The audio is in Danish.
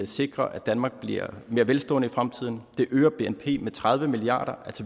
sikrer at danmark bliver mere velstående i fremtiden det øger bnp med tredive milliard